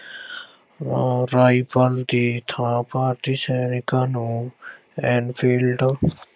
rifle ਦੀ ਥਾਂ ਭਾਰਤੀ ਸੈਨਿਕਾਂ ਨੂੰ Enfield